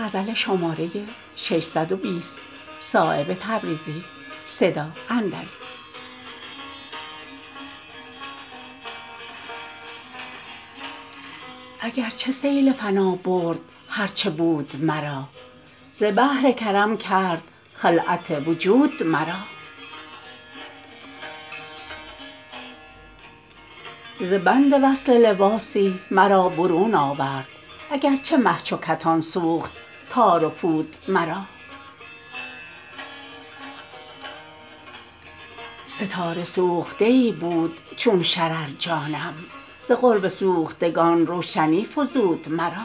ارگ چه سیل فنا برد هر چه بود مرا ز بحر کرد کرم خلعت وجود مرا ز بند وصل لباسی مرا برون آورد اگر چه مه چو کتان سوخت تار و پود مرا ستاره سوخته ای بود چون شرر جانم ز قرب سوختگان روشنی فزود مرا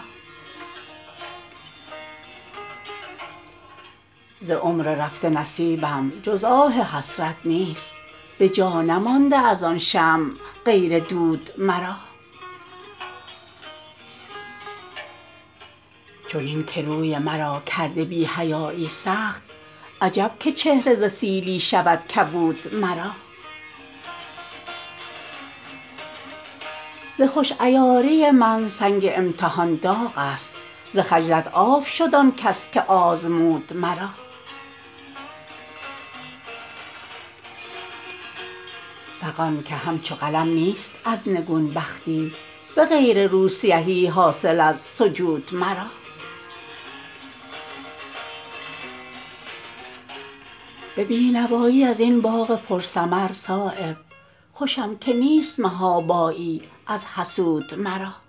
ز عمر رفته نصیبم جز آه حسرت نیست به جا نمانده ازان شمع غیر دود مرا چنین که روی مرا کرده بی حیایی سخت عجب که چهره ز سیلی شود کبود مرا ز خوش عیاری من سنگ امتحان داغ است ز خجلت آب شد آن کس که آزمود مرا فغان که همچو قلم نیست از نگون بختی به غیر روسیهی حاصل از سجود مرا به بینوایی ازین باغ پر ثمر صایب خوشم که نیست محابایی از حسود مرا